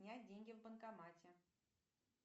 снять деньги в банкомате